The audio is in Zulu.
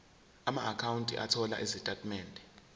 amaakhawunti othola izitatimende